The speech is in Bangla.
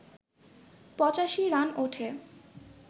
৮৫ রান ওঠে